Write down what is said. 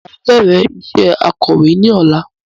Máa bẹrẹ iṣẹ akọ̀wé ní ọ̀la